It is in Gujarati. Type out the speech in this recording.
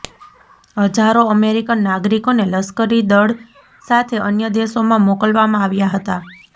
હજારો અમેરિકન નાગરિકોને લશ્કરી દળ સાથે અન્ય દેશોમાં મોકલવામાં આવ્યા હતા